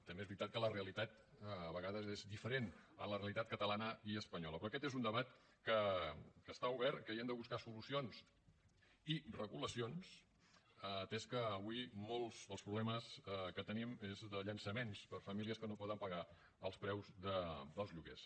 també és veritat que la realitat a vegades és diferent a la realitat catalana i espanyola però aquest és un debat que està obert que hi hem de buscar solucions i regulacions atès que avui molts dels problemes que tenim és de llançaments per a famílies que no poden pagar els preus dels lloguers